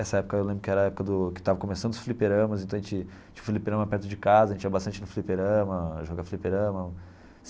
Essa época eu lembro que era a época do que estava começando os fliperamas, então a gente tinha fliperama perto de casa, a gente ia bastante no fliperama, jogava fliperama.